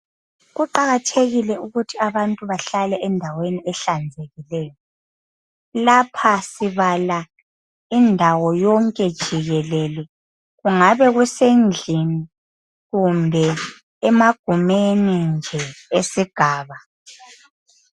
Kuqakathekile ukuthi abantu bahlale endaweni ehlanzekileyo lapha sibala indawo yonke jikelele kungabe kusendlini kumbe emagumeni nje esigaba